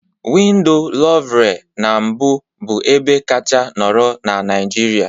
Window louvre na mbụ bụ ebe kacha nọrọ na Naịjirịa